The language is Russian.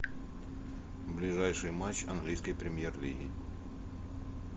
ближайший матч английской премьер лиги